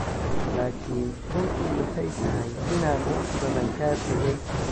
Laakiin runtu waxay tahay inaan wax badan ka tagay.